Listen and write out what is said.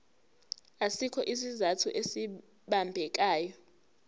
asikho isizathu esibambekayo